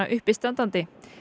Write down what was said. uppistandandi